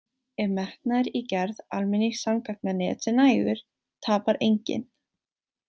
Ef metnaður í gerð almenningssamgangnanets er nægur tapar enginn.